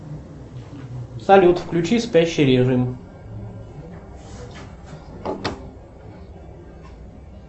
салют включи спящий режим